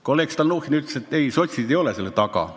Kolleeg Stalnuhhin ütles, et sotsid ei ole selle taga.